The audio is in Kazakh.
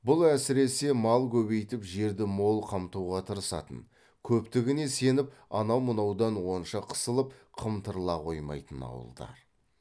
бұл әсіресе мал көбейтіп жерді мол қамтуға тырысатын көптігіне сеніп анау мынаудан онша қысылып қымтырыла қоймайтын ауылдар